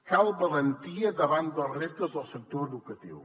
cal valentia davant dels reptes del sector educatiu